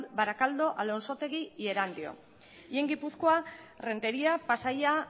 barakaldo alonsotegi y erandio y en gipuzkoa renteria pasaia